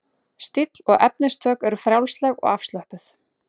Stíll og efnistök eru frjálsleg og afslöppuð.